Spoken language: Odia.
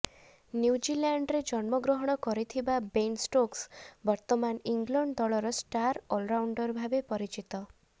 ନ୍ୟୁଜିଲାଣ୍ଡରେ ଜନ୍ମଗ୍ରହଣ କରିଥିବା ବେନ ଷ୍ଟୋକ୍ସ ବର୍ତ୍ତମାନ ଇଂଲଣ୍ଡ ଦଳର ଷ୍ଟାର ଅଲରାଉଣ୍ଡର ଭାବେ ପରିଚିତ